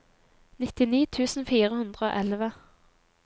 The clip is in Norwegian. nittini tusen fire hundre og elleve